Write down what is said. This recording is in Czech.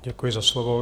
Děkuji za slovo.